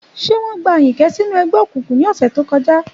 Ṣé wọ́n bẹ̀rẹ̀ Ayinke sínú ẹgbẹ́ òkùnkùn ní ọ̀sẹ̀ tó kọjá?